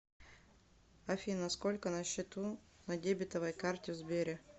афина сколько на счету на дебетовой карте в сбере